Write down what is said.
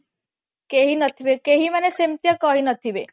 କେହି ନଥିବେ କେହି ମାନେ ସେମତିୟା କରି ନଥିବେ